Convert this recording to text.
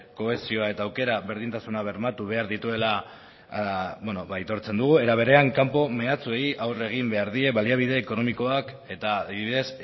kohesioa eta aukera berdintasuna bermatu behar dituela aitortzen dugu era berean kanpo meatsuei aurre egin behar die baliabide ekonomikoak eta adibidez